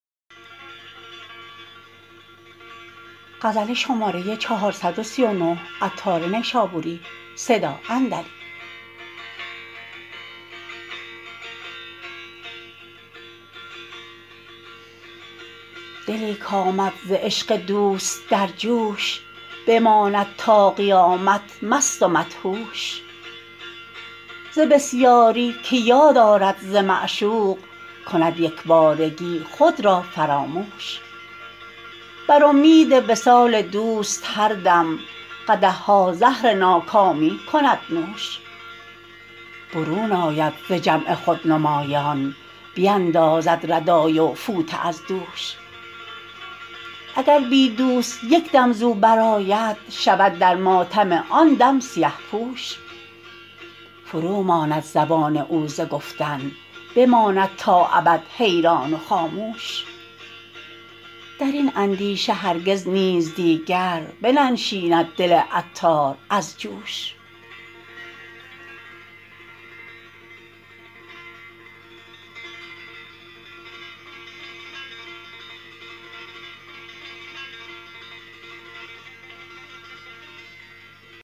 دلی کامد ز عشق دوست در جوش بماند تا قیامت مست و مدهوش ز بسیاری که یاد آرد ز معشوق کند یکبارگی خود را فراموش بر امید وصال دوست هر دم قدح ها زهر ناکامی کند نوش برون آید ز جمع خودنمایان بیندازد ردای و فوطه از دوش اگر بی دوست یک دم زو برآید شود در ماتم آن دم سیه پوش فروماند زبان او ز گفتن بماند تا ابد حیران و خاموش درین اندیشه هرگز نیز دیگر بننشیند دل عطار از جوش